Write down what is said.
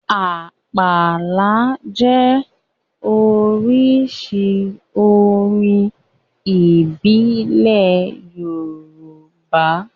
Àpàlà jẹ́ oríṣi orin ìbílẹ̀ Yorùbá